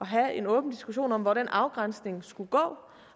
have en åben diskussion om hvor den afgrænsning skulle gå